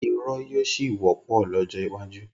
irọ́ yóò ṣì wọ́pọ̀ lọ́jọ́ iwájú.